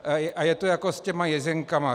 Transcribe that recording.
A je to jako s těmi jezinkami.